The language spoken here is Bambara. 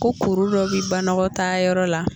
Ko kuru dɔ bɛ banɔgɔtaa yɔrɔ la